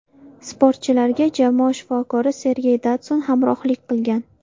Sportchilarga jamoa shifokori Sergey Datsun hamrohlik qilgan.